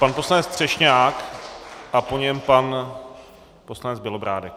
Pan poslanec Třešňák a po něm pan poslanec Bělobrádek.